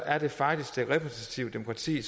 er det faktisk det repræsentative demokrati